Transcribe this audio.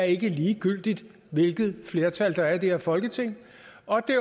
ikke er ligegyldigt hvilket flertal der er i det her folketing og